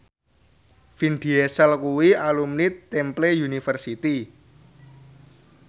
Vin Diesel kuwi alumni Temple University